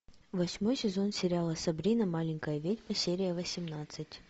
восьмой сезон сериала сабрина маленькая ведьма серия восемнадцать